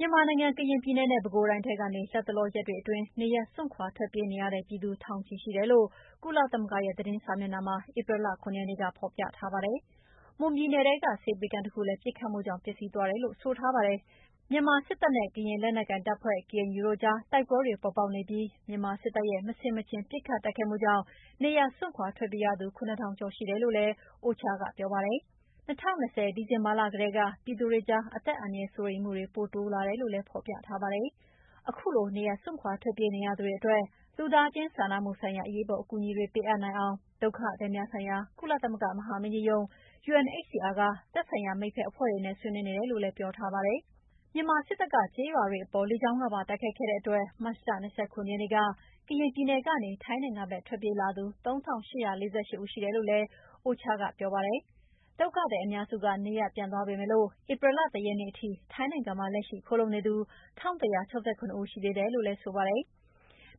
မြန်မာနိုင်ငံ၊ ကရင်ပြည်နယ်နဲ့ ပဲခူးတိုင်းထဲကနေ လတ်တလောရက်တွေအတွင်း နေရပ်ထွက်ခွာ ထွက်ပြေးနေရတဲ့ပြည်သူ ထောင်နဲ့ချီရှိတယ်လို့ ကုလသမဂ္ဂရဲ့ သတင်းစာမျက်နှာမှာ ဧပြီလ ၇ ရက်နေ့က ဖော်ပြေထားပါတယ်။ မွန်ပြည်နယ်ထဲက ဆေးပေးခန်းတခုလည်း ပစ်ခတ်မှုတွေကြောင့် ပျက်စီးသွားတယ်လို့ ဆိုထားပါတယ်။ မြန်မာစစ်တပ်ရဲ့ ကရင်လက်နက်ကိုင်တပ်ဖွဲ့ KNU တို့ကြား တိုက်ပွဲတွေ ပေါ်ပေါက်နေပြီး မြန်မာစစ်တပ်ရဲ့ မဆင်မခြင် ပစ်ခတ်တိုက်ခိုက်မှုကြောင့် နေရပ်စွန့်ခွာ ထွက်ပြေးရသူ ၇ထောင် ကျော်ရှိတယ်လို့လည်း OCHA က ပြောပါတယ်။ ၂၀၂၀ ဒီဇင်ဘာလက တည်းက ပြည်သူတွေကြား အသက်အန္တရာယ်စိုးရိမ်မှုတွေပိုတိုးလာတယ်လို့လည်း ဖော်ပြထားပါတယ်။ ခုလို နေရပ်စွန့်ခွာ ထွက်ပြေးနေရသူတွေအတွက် လူသားချင်းစာနာမှုဆိုင်ရာ အရေးပေါ် အကူအညီတွေပေးအပ်နိုင်အောင် ဒုက္ခသည်များဆိုင်ရာ ကုလသမဂ္ဂမဟာမင်းကြီးရုံး UNHCR က သက်ဆိုင်ရာမိတ်ဖက်အဖွဲ့တွေနဲ့ ဆွေးနွေးနေတယ်လို့လည်း ပြောထားပါတယ်။ မြန်မာစစ်တပ်က ကျေးရွာတွေအပေါ် လကြောင်းကနေ ပါတိုက်ခိုက်ခဲ့တဲ့အတွက် မတ်လ ၂၇ ရက်နေ့က ကရင်ပြည်နယ်ကနေ ထိုင်းနိုင်ငံဖက်ထွက်ပြေးလာသူ ၃၈၄၈ ဦးရှိတယ်လို့လည်း UNOCHA ကပြောပါတယ်။ ဒုက္ခသည်အများစုက နေရပ်ပြန်သွားကြပေမယ့် ဧပြီလ ၁ ရက်နေ့ထိ ထိုင်းနိုင်ငံမှာ လက်ရှိခိုလှုံနေသူ ၁၁၆၇ ဦးရှိသေးတယ်လို့ဆိုပါတယ်။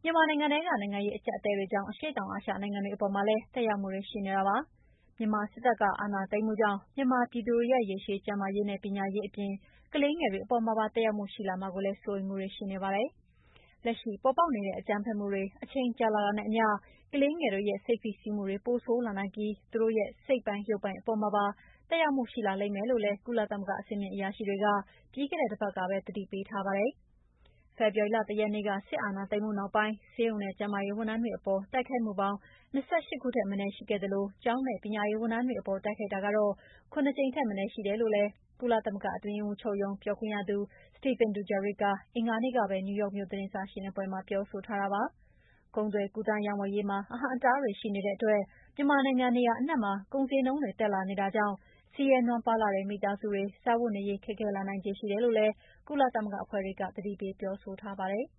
မြန်မာနိုင်ငံထဲက နိုင်ငံရေးအကြပ်အတည်းတွေကြောင့် အရှေ့တောင်အာရှနိုင်ငံတွေအပေါ်မှာလည်း သက်ရောက်မှုတွေရှိနေပါတယ်။ မြန်မာစစ်တပ်က အာဏာသိမ်းမှုကြောင့် မြန်မာပြည်သူတွေရဲ့ ရေရှည် ကျန်းမာရေးနဲ့ ပညာရေးအပြင် ကလေးငယ်တွေ အပေါ်မှာပါ သက်ရောက်မှုရှိလာမှာကိုလည်း စိုးရိမ်မှုတွေရှိနေပါတယ်။ လက်ရှိ ပေါ်ပေါက်နေတဲ့ အကြမ်းဖက်မှုတွေ အချိန်ကြာလာတာနဲ့အမ ျှ ကလေးငယ်တွေရဲ့စိတ် ဖိစီးမှုတွေ ပိုဆိုးလာနိုင်ပြီး သူတို့ရဲ့စိတ်ပိုင်၊း ရုပ်ပိုင်းအပေါ်မှာပါ သက်ရောက်မှုရှိလာလိမ့်မယ်လို့လည်း ကုလသမဂ္ဂကအဆင့်မြင့်အရာရှိတွေက ပြီးခဲ့တဲ့တပတ်ကပဲ သတိပေးထားပါတယ်။ ဖေဖော်ဝါရီလ ၁ ရက်နေ့ စစ်အာဏာသိမ်းမှုနောက်ပိုင်း ဆေးရုံနဲ့ကျန်းမာရေးဝန်ထမ်းတွေအပေါ်တိုက်ခိုက်မှုပေါင်း ၂၈ ခုထက်မနည်း ရှိခဲ့သလို ကျောင်းနဲ့ ပညာရေးဝန်ထမ်းတွေအပေါ်တိုက်ခိုက်တာက ၇ ကြိမ်ထက်မနည်းရှိတယ်လို့ ကုသမဂ္ဂအတွင်းရေးမှူးချုပ်ရုံးပြောခွင့်ရသူ Stéphane Dujarric က အင်္ဂါနေ့ကပဲ နယူးယောက်မြို့သတင်းစာရှင်းလင်းပွဲမှာပြောဆိုထားပါတယ်။ ကုန်သွယ်ကူးသန်းရောင်းဝယ်ရေးမှာ အဟန့်အတားတွေရှိနေတဲ့အတွက် မြန်မာနိုင်ငံနေရာအနှံ့မှာ ကုန်ဈေးနှုန်းတွေတက်လာနေတာကြောင့် ဆင်းရဲနွမ်းပါးလှတဲ့မိသားစုတွေစားဝတ်နေရေး ခက်ခဲလာနိုင်ခြေရှိတယ်လို့လည်း ကုလသမဂ္ဂအဖွဲ့တွေက ပြောဆိုထားပါတယ်။